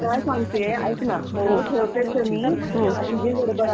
ऐक ना ऐक मी काय सांगतिये ऐक ना, हो हो ठेवतेच आहे मी